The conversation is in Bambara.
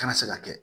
Kana se ka kɛ